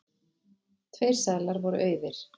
Tveir seðlar voru auðir.